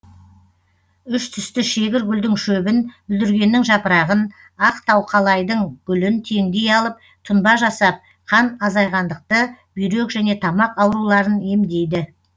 үш түсті шегір гүлдің шөбін бүлдіргеннің жапырағын ақ тауқалайдың гүлін теңдей алып тұнба жасап қан азайғандықты бүйрек және тамақ ауруларын емдейді